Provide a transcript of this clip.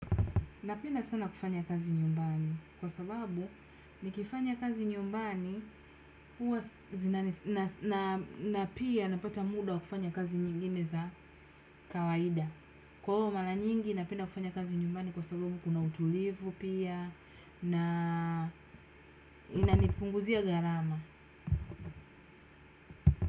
Napendq sana kufanya kazi nyumbani kwa sababu nikifanya kazi nyumbani na pia napata muda kufanya kazi nyingine za kawaida. Kwa hivyo mara nyingi napenda kufanya kazi nyumbani kwa sababu kuna utulivu pia inanipunguzia garama.